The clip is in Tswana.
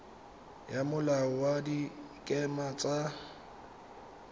ya molao wa dikema tsa